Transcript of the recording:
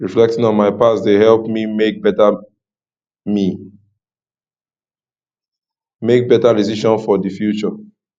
reflecting on my past dey help me make better me make better decisions for the future